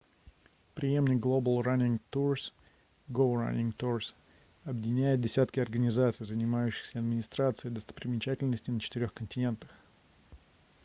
преемник global running tours go running tours объединяет десятки организаций занимающихся администрацией достопримечательностей на четырёх континентах